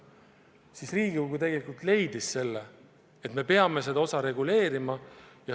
Siis Riigikogu leidis, et me peame seda reguleerima.